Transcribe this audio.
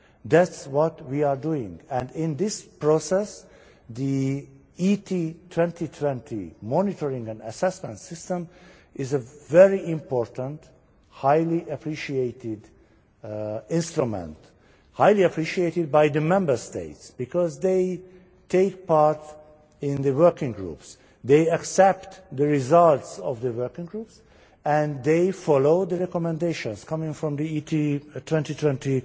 That is what we are doing, and in this process the ET2020 monitoring and assessment system is a very important, highly appreciated instrument highly appreciated by the Member States, because they take part in the working groups, they accept the results of the working groups and they follow the recommendations from the ET2020